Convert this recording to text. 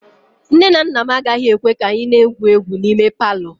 Nne na nna m agaghị ekwe ka anyị na-egwu egwu n'ime palọ